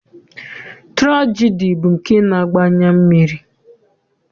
Tụrajedi bụ nke na-agba anya mmiri.